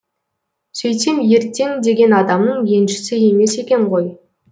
сөйтсем ертең деген адамның еншісі емес екен ғой